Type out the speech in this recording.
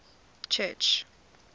church